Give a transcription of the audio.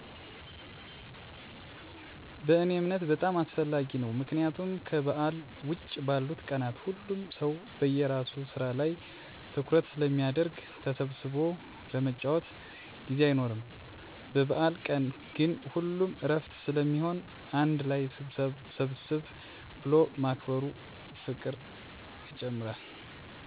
በእኔ እምነት በጣም አስፈላጊ ነው። ምክንያቱም ከበዓል ውጭ ባሉት ቀናት ሁሉም ሰው በየራሱ ስራ ላይ ትኩረት ስለሚያደረግ ተሰብስቦ ለመጨዋወት ጊዜ አይኖርም። በበአል ቀን ግን ሁሉም እረፍት ስለሚሆን አንድ ላይ ሰብሰብ ብሎ ማክበሩ ፍቅርን ይጨምራል አንድነትን ያጠናክራል። ባህላችንም ስለሆነ በአል በአል የሚመስለው ተሰብስበው በጋራ ሲያከብሩት ነው።